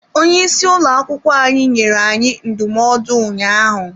Onye isi ụlọ akwụkwọ anyị nyere anyị ndụmọdụ ụnyaahụ.